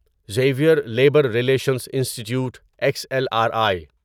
Xavier Labour Relations Institute X L R I